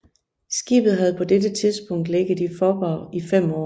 Skibet havde på dette tidspunkt ligget i Faaborg i 5 år